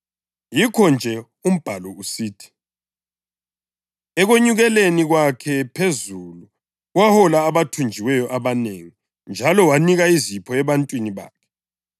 Yikho-nje umbhalo usithi: “Ekwenyukeleni kwakhe phezulu, wahola abathunjiweyo abanengi njalo wanika izipho ebantwini bakhe.” + 4.8 AmaHubo 68.18